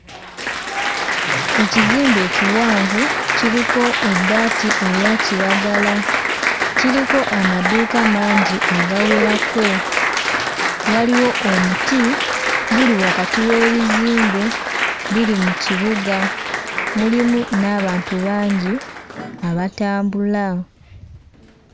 Ekizimbe ekiwanvu kiriko ebbaati erya kiragala, kiriko amaduuka amangi agawerako. Waliwo omuti guli wakati w'ebizimbe biri mu kibuga mulimu n'abantu bangi abatambula.